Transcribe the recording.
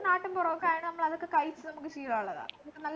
നാട്ടുംപുറമൊക്കെ ആയോണ്ട് നമ്മളതൊക്കെ കഴിചു നമ്മക്ക് ശീലമുള്ളതാ നമുക് നല്ല